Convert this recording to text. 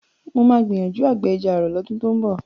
Mo máa gbìyànjú àgbẹ̀ ẹja ààrọ̀ lọ́dún tó ń bọ̀